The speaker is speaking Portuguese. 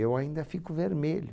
Eu ainda fico vermelho.